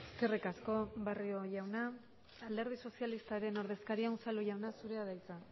eskerrik asko barrio jauna alderdi sozialistaren ordezkaria unzalu jauna zurea da hitza